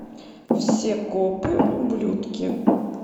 все копы ублюдки